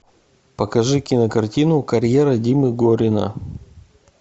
покажи кинокартину карьера димы горина